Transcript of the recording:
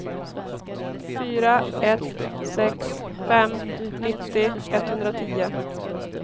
fyra ett sex fem nittio etthundratio